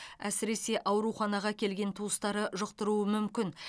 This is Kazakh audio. әсіресе ауруханаға келген туыстары жұқтыруы мүмкін